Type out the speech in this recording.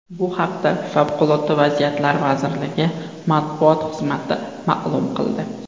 Bu haqda Favqulodda vaziyatlar vazirligi matbuot xizmati ma’lum qildi .